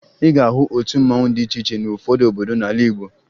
Ị ga-ahụ otu mmanwụ dị iche iche n'ụfọdụ obodo n'ala Igbo